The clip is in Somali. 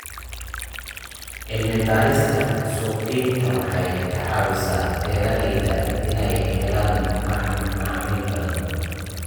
Cilmi-baarista suuqgeyntu waxay ka caawisaa beeralayda inay helaan macaamiil badan.